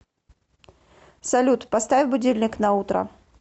салют поставь будильник на утро